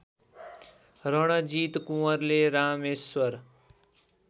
रणजित कुँवरले रामेश्वर